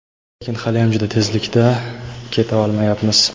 lekin haliyam juda tezlikda keta olmayapmiz.